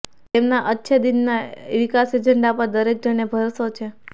તેમના અચ્છે દિનના વિકાસ એજેન્ડા પર દરેક જણને ભરોસો છે